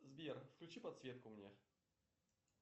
сбер включи подсветку мне